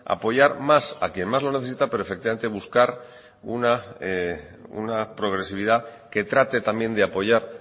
apoyar más a quien más lo necesita pero efectivamente buscar una progresividad que trate también de apoyar